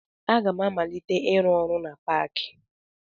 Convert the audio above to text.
Aga m amalite ịrụ ọrụ na paakị